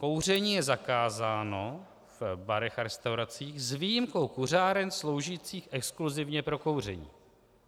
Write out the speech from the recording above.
Kouření je zakázáno v barech a restauracích s výjimkou kuřáren sloužících exkluzivně pro kouření.